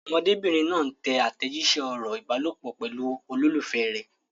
Ọmọdébìnrin náà ń tẹ àtẹ̀jíṣẹ́ ọ̀rọ̀ ìbálòpọ̀ pẹ̀lú olólùfẹ́ rẹ̀.